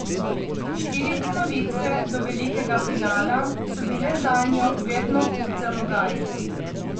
Štiri ponovitve do velikega finala so bile zanjo vedno hud zalogaj.